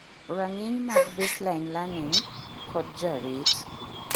rang'iny mag baseline learning, kod jarit